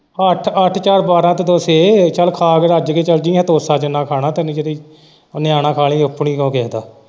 ਅੱਠ ਅੱਠ ਚਾਰ ਬਾਰਾਂਹ ਤੇ ਦੋ ਛੇ ਚੱਲ ਖਾ ਕੇ ਰੱਜ ਕੇ ਚੱਲ ਜੀ ਤੋਸਾ ਜਿੰਨਾਂ ਖਾਣਾ ਤੈਨੂੰ ਜਿਹੜੀ ਨਿਆਣਾ .